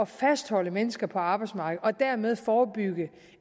fastholde mennesker på arbejdsmarkedet og dermed forebygge